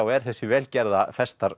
er þessi vel gerða